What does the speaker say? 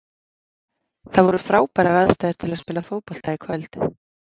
Það voru frábærar aðstæður til að spila fótbolta í kvöld.